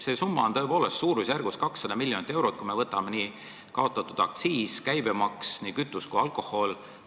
See summa on tõepoolest suurusjärgus 200 miljonit eurot, kui me võtame kokku kütuse ja alkoholi aktsiisi ja käibemaksu, millest me ilma jääme.